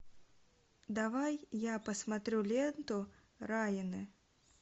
давай я посмотрю ленту районы